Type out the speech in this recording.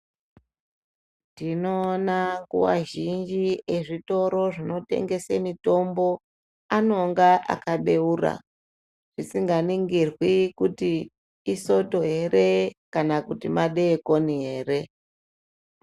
Tinoona nguva zhinji ezvitoro zvinotengesr mitombo anonga akabeura zvisinganingirwi kuti isoto here kana kuti madekoni here.